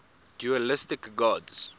dualistic gods